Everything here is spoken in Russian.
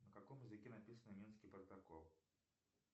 на каком языке написан минский протокол